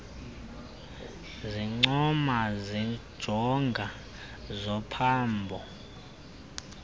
zincomo zenjongo zophambo